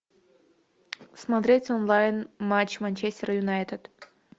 смотреть онлайн матч манчестер юнайтед